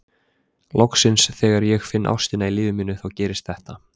Loksins þegar ég finn ástina í lífi mínu þá gerist þetta.